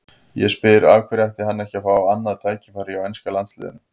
Ég spyr: Af hverju ætti hann ekki að fá annað tækifæri hjá enska landsliðinu?